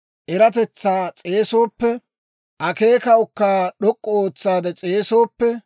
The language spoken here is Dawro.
eratetsaa s'eesooppe, akeekaakka d'ok'k'u ootsaade s'eesa.